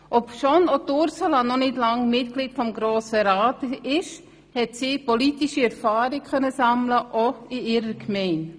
Obschon auch Ursula noch nicht lange Mitglied des Grossen Rats ist, konnte sie bereits politische Erfahrung sammeln, beispielsweise auch in ihrer Gemeinde.